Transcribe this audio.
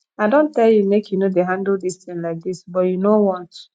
i don tell you make you no dey handle dis thing like dis but you know want